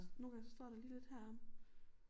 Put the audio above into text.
Nogle gange så står der lige lidt heromme